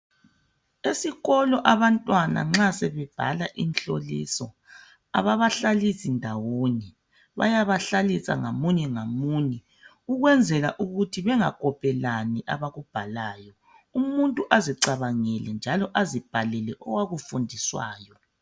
Esikolo abantwana nxa sebebhala imhloliso, ababahlalisi ndawonye. Bayaba hlalisa ngamunye ngamunye ukunzela ukuthi bengakopelani abakubhalayo. Umuntu azicabangele njalo azibhalele owakufundiswayo.